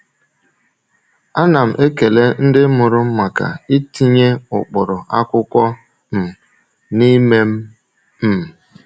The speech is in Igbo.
A na m ekele ndị mụrụ m maka itinye ụkpụrụ akwụkwọ um n’ime m. um